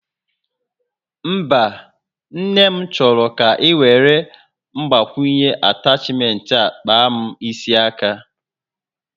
Mba, Nne m chọrọ ka iwere Mgbakwunye atachment a kpaa m isi aka